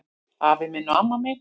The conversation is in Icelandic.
Afi minn og amma mín